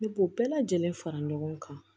Ne b'o bɛɛ lajɛlen fara ɲɔgɔn kan